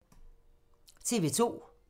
TV 2